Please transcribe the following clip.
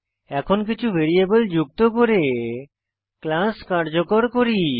এখন কিছু ভ্যারিয়েবল যুক্ত করে ক্লাস কার্যকর করি